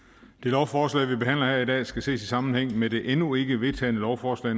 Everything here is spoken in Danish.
det lovforslag vi behandler her i dag skal ses i sammenhæng med det endnu ikke vedtagne lovforslag